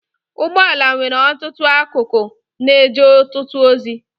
Ụgbọala nwere ọtụtụ akụkụ na-eje ọtụtụ ozi.